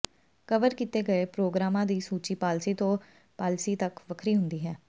cover ਕੀਤੇ ਗਏ ਪ੍ਰੋਗਰਾਮਾਂ ਦੀ ਸੂਚੀ ਪਾਲਸੀ ਤੋਂ ਪਾਲਿਸੀ ਤੱਕ ਵੱਖਰੀ ਹੁੰਦੀ ਹੈ